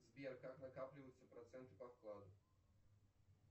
сбер как накапливаются проценты по вкладу